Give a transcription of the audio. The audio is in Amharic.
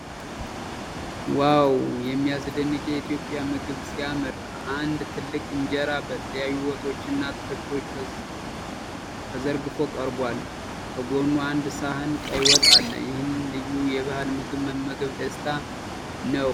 ዋው! የሚያስደንቅ የኢትዮጵያ ምግብ ሲያምር! አንድ ትልቅ ኢንጀራ በተለያዩ ወጦችና አትክልቶች ተዘርግፎ ቀርቧል። ከጎኑ አንድ ሳህን ቀይ ወጥ አለ። ይህን ልዩ የባህል ምግብ መመገብ ደስታ ነው።